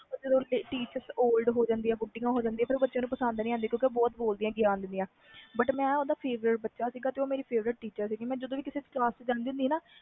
ਜਦੋ teacher old age ਬੁਢਿਆਂ ਹੋ ਜਾਣਿਦਿਆਂ ਨੇ ਉਹ ਕੁਛ ਬੱਚਿਆਂ ਨੂੰ ਪਸੰਦ ਨਹੀਂ ਆਂਦੀਆਂ ਕਿਉਕਿ ਉਹ ਬਹੁਤ ਬੋਲ ਦੀਆ ਨੇ but ਉਹ ਮੇਰੀ favourite teacher ਸੀ ਤੇ ਮੈਂ ਓਹਦਾ favourite ਬੱਚਾ ਸੀ ਮੈਂ ਜਦੋ ਵੀ ਕਿਸੇ ਕਲਾਸ ਵਿਚ ਜਾਂਦੀ ਸੀ